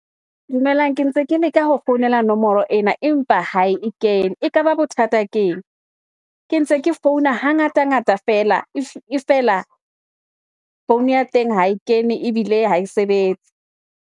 Dumelang ke ntse ke leka ho founela nomoro ena empa ha e kene, ekaba bothata keng ke ntse ke founa hangata-ngata feela e fela, phone ya teng ha e kene ebile ha e sebetse.